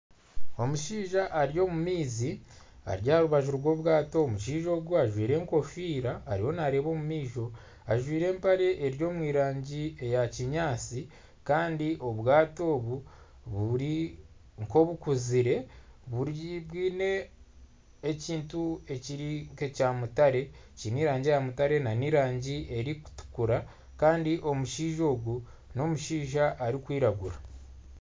Omushaija ari omu maizi ari aha rubaju rw'obwato omushaija ogu ajwaire enkofiira ariyo naareeba omu maisho ajwaire empare eri omu rangi ya kinyaatsi kandi obwato obu buri nk'obukuzire bwine ekintu kiri nkekya mutare nana erangi erikutukura kandi omushaija ogu n'omushaija arikwiragura.